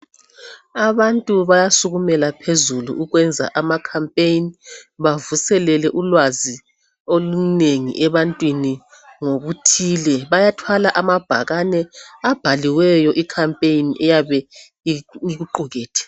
Abantu bayasukumela ukwenza ama khampeni bavuselele ulwazi olunengi ebantwini ngokuthile bayathwala amabhakane abhaliweyo ikhampeni eyabe ikuqugethe.